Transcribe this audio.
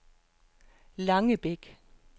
Langebæk